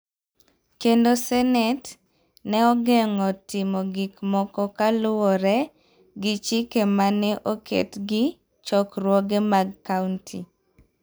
kendo Senet ne ogeng�o timo gik moko kaluwore gi chike ma ne oket gi chokruoge mag kaonti.